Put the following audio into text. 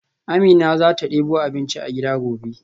Amina zata debo abinci a gida gobe.